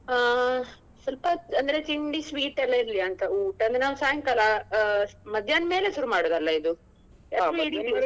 ಹ ಸ್ವಲ್ಪ ಅಂದ್ರೆ ತಿಂಡಿ sweet ಎಲ್ಲ ಇರ್ಲಿಯಾ ಅಂತ ಊಟ ಅಂದ್ರೆ ನಾವು ಸಾಯಂಕಾಲ ಆ ಮಧ್ಯಾಹ್ನ ಮೇಲೆ ಶುರು ಮಾಡುದಲ್ಲ ಇದು .